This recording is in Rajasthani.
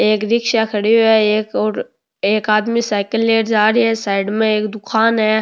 एक रिक्शा खड़ो है एक और एक आदमी साइकल लेर जा रो है साइड में एक दुकान है।